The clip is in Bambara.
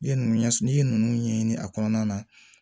I ye nunnu ɲɛsi n'i ye nunnu ɲɛɲini a kɔnɔna na